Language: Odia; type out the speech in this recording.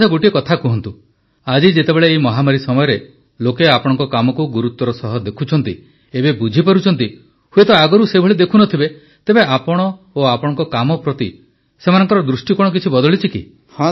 ଆଚ୍ଛା ଗୋଟିଏ କଥା କୁହନ୍ତୁ ଆଜି ଯେତେବେଳେ ଏହି ମହାମାରୀ ସମୟରେ ଲୋକେ ଆପଣଙ୍କ କାମକୁ ଗୁରୁତ୍ୱର ସହ ଦେଖୁଛନ୍ତି ଏବେ ବୁଝିପାରୁଛନ୍ତି ହୁଏତ ଆଗରୁ ସେଭଳି ଦେଖୁ ନ ଥିବେ ତେବେ ଆପଣ ଓ ଆପଣଙ୍କ କାମ ପ୍ରତି ତାଙ୍କ ଦୃଷ୍ଟିକୋଣ କିଛି ବଦଳିଛି କି